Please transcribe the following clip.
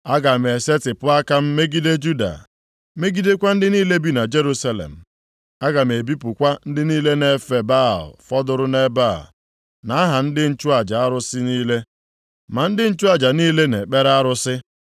“Aga m esetipụ aka m megide Juda, megidekwa ndị niile bi na Jerusalem. Aga m ebipụkwa ndị niile na-efe Baal fọdụrụ nʼebe a, na aha ndị nchụaja arụsị niile, ma ndị nchụaja niile na-ekpere arụsị,